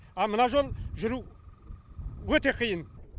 а мына жол жүру өте қиын